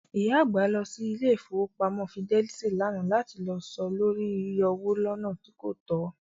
ìyá àgbà lọ sí ilé Ìfowópamọ́ Fidelit lánàá lati lọ ṣe lóri yíyọwó lọ́nà tí kòtó.